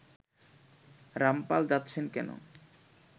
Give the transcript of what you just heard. রামপাল যাচ্ছেন কেন